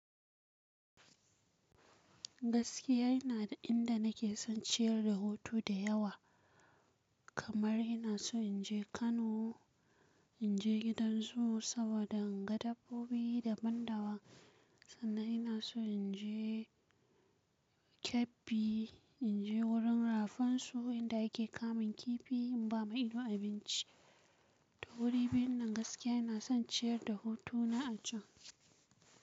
Gaskiya yana da inda nake son ciyar da hutu da yawa, kamar ina so in je Kano, in je gidan zoo saboda in ga dabbobi daban-daban. Sannan ina so in je Kebbi, in je wurin rafin su inda yake kamun kifi in ba ma ido abinci. To wurin binne gaskiya ina son ciyar da hutu na a can.